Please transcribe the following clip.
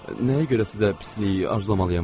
Nəyə görə sizə pislik arzu etməliyəm axı?